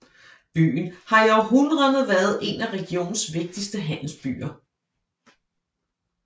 Byen har i århundreder været en af regionens vigtigste handelsbyer